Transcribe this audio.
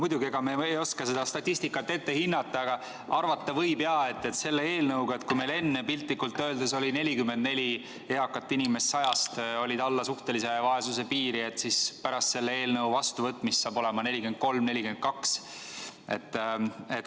Muidugi, ega me ei oska seda statistikat ette hinnata, aga arvata võib, et kui meil enne piltlikult öeldes oli 44 eakat inimest 100-st alla suhtelise vaesuse piiri, siis pärast selle eelnõu vastuvõtmist on kas 43 või 42.